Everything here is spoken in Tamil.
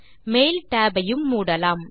மெயில் tab ஐ யும் மூடலாம்